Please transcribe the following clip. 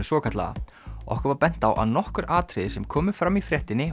svokallaða okkur var bent á að nokkur atriði sem komu fram í fréttinni